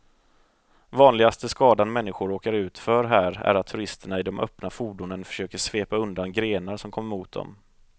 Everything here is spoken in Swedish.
Vanligaste skadan människor råkar ut för här är att turisterna i de öppna fordonen försöker svepa undan grenar som kommer mot dem.